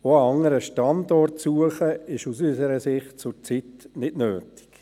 Auch ist die Suche nach einem anderen Standort aus unserer Sicht zurzeit nicht notwendig.